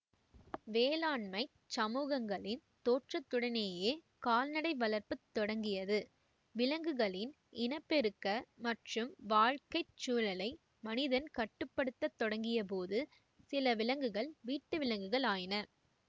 வேளாண்மைச் சமூகங்களின் தோற்றத்துடனேயே கால்நடை வளர்ப்பு தொடங்கியது விலங்குகளின் இன பெருக்க மற்றும் வாழ்க்கை சூழலை மனிதன் கட்டுப்படுத்தத் தொடங்கியபோது சில விலங்குகள் வீட்டுவிலங்குகள் ஆயின